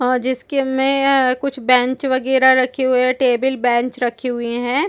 और जिसके में कुछ बेंच वगैरा रखी हुई है टेबल बेंच रखी हुई है।